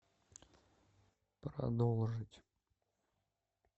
продолжить